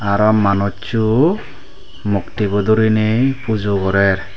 aro manussu mukti bu doriney pujo gorer.